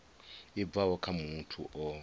i bvaho kha muthu o